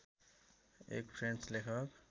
एक फ्रेन्च लेखक